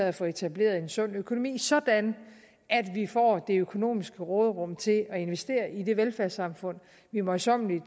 at få etableret en sund økonomi sådan at vi får det økonomiske råderum til at investere i det velfærdssamfund vi møjsommeligt